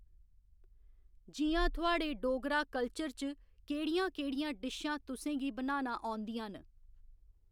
जि'यां थुआढ़े डोगरा कल्चर च केह्‌ड़ियां केह्‌ड़ियां डिशां तुसेंगी बनाना औंदियां न